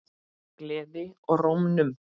Gleði í rómnum.